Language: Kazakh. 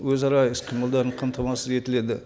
өзара іс қимылдары қамтамасыз етіледі